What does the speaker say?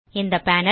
இந்த பேனல்